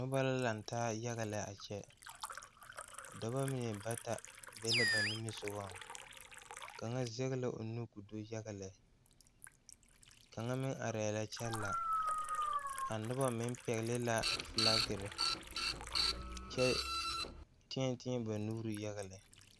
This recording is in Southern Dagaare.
Nobɔ la laŋtaa yaga lɛ a kyɛ dɔbɔ mine ba be la ba nimisugɔŋ kaŋa zɛge la o nu ko do yaga lɛ kaŋa meŋ arɛɛ la kyɛ la a nobɔ meŋ pɛgle la flakerre kyɛ teɛ teɛ ba nuure yaga lɛ.